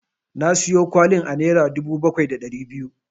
Na siyo kwalin a naira dubu bakwai da ɗari biyu.